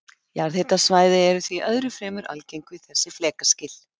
Jarðhitasvæði eru því öðru fremur algeng við þessi flekaskil.